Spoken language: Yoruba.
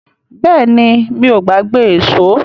Bẹ́ẹ̀ni, mi ò gbàgbé èṣó.